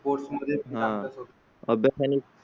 Sports. मध्ये हा. अभ्यास आणि.